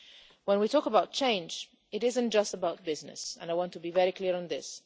When we talk about change, it is not just about business. I want to be very clear on this.